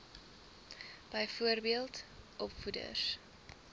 byvoorbeeld opvoeders